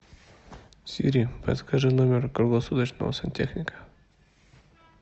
сири подскажи номер круглосуточного сантехника